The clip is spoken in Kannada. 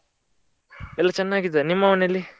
ಎಲ್ಲ ಚೆನ್ನಾಗಿದ್ದಾರೆ ನಿಮ್ಮ ಮನೆಯಲ್ಲಿ?